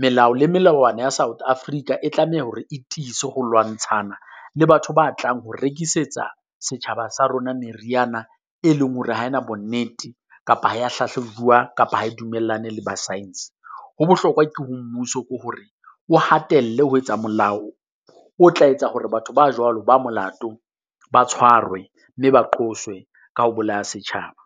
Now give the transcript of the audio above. Melao le melawana ya South Africa e tlameha hore e tiise ho lwantshana le batho ba tlang ho rekisetsa setjhaba sa rona meriana e leng hore ha e na bonnete kapa ha ya hlahlabuwa kapa ha e dumellane le ba science. Ho bohlokwa ke ho mmuso ke hore o hatelle ho etsa molao, o tla etsa hore batho ba jwalo ba molato ba tshwarwe mme ba qoswe ka ho bolaya setjhaba.